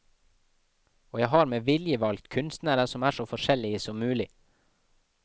Og jeg har med vilje valgt kunstnere som er så forskjellige som mulig.